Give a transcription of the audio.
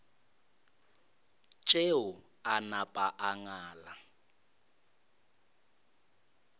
tšeo a napa a ngala